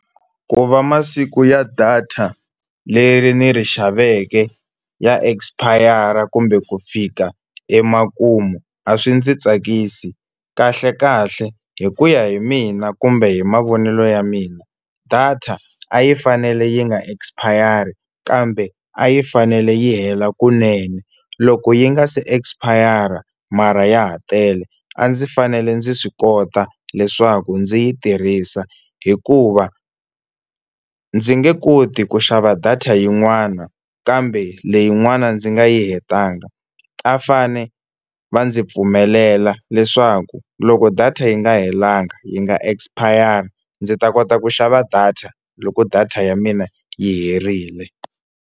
Ku va masiku ya data leri ndzi ri xaveke ya expire kumbe ku fika emakumu a swi ndzi tsakisi, kahlekahle hi ku ya hi mina kumbe hi mavonelo ya mina data a yi fanele yi nga expire kambe a yi fanele yi hela kunene loko yi nga se expire mara ya ha tele a ndzi fanele ndzi swi kota leswaku ndzi yi tirhisa hikuva ndzi nge koti ku xava data yin'wana kambe leyin'wana ndzi nga yi hetanga. A va fane va ndzi pfumelela leswaku loko data yi nga helangi yi nga expire ndzi ta kota ku xava data loko data ya mina yi herile.